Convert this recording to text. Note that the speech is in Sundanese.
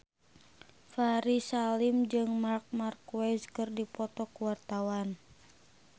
Ferry Salim jeung Marc Marquez keur dipoto ku wartawan